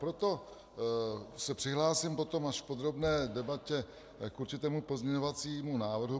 Proto se přihlásím potom až v podrobné debatě k určitému pozměňovacímu návrhu.